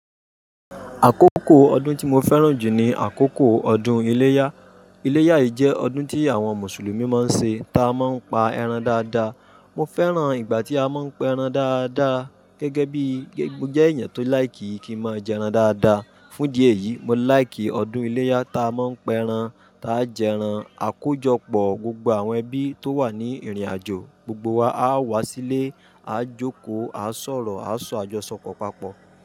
Àkókò ọdún tí mo fẹ́ràn jù ni àkókò ọdún iléyá. Iléyá yìí jẹ́ ọdún tí àwọn Mùsùlùmí máa ń ṣe ta máa ń pa ẹran dáadáa. Mo fẹ́ràn ìgbà tí a máa pa ẹran dáadáa gẹ́gẹ́ bíi mo jẹ́ èèyàn tó like ki máa jẹ ẹran dáadáa. Fún ìdí yìí, mo láìkì ọdún iléyá ta a máa ń pẹ ẹran, ta a jẹ ẹran, a kó jọ pọ̀, gbogbo àwọn ẹbí tó wà ní ìrìnàjò, gbogbo wa á wá sílé, a jókòó, a sọ̀rọ̀, a sọ àjọsọpọ̀ papọ̀.